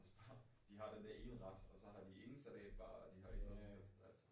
Også bare de har den der ene ret og så har de ingen salatbar og de har ikke noget som helst altså